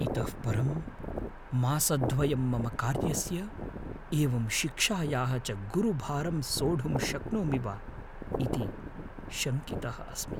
इतः परं मासद्वयं मम कार्यस्य एवं शिक्षायाः च गुरुभारं सोढुं शक्नोमि वा इति शङ्कितः अस्मि।